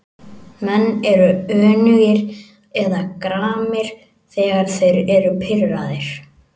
Menn eru önugir eða gramir þegar þeir eru pirraðir.